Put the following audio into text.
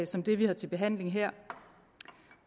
som det vi har til behandling her